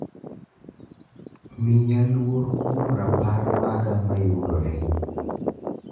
Miya luor kuom rapar maga mayudore